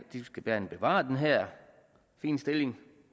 de skal gerne bevare den her fine stilling